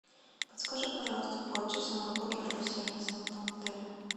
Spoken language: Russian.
подскажи пожалуйста по часам работы рум сервиса в этом отеле